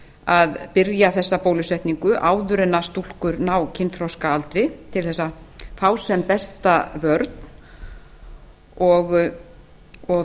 að byrja þessa bólusetningu áður en að stúlkur ná kynþroskaaldri til að fá sem besta vörn